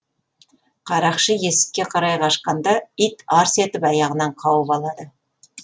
қарақшы есікке қарай қашқанда ит арс етіп аяғынан қауып алады